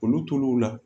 Olu tol'o la